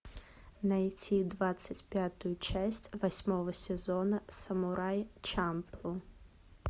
найти двадцать пятую часть восьмого сезона самурай чамплу